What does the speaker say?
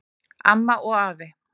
Amma og afi